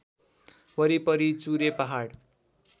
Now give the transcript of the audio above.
वरिपरि चुरे पहाड